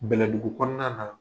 Bɛlɛdugu kɔnɔna na